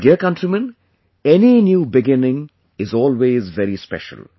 My dear countrymen, any new beginning is always very special